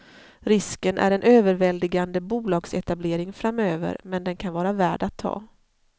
Risken är en överväldigande bolagsetablering framöver, men den kan vara värd att ta.